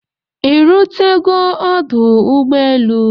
Ị́ rutego ọdụ ụgbọelu?